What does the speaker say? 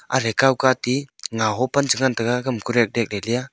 athre kawkatey ngawho pan chengan taiga kam korateh leya.